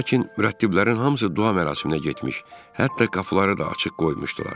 Lakin mürəttiblərin hamısı dua mərasiminə getmiş, hətta qapıları da açıq qoymuşdular.